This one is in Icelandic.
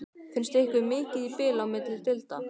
Finnst ykkur mikið bil á milli deilda?